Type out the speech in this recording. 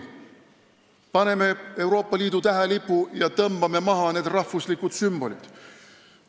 Paneme asemele Euroopa Liidu tähelipu ja tõmbame maha need rahvuslikud sümbolid!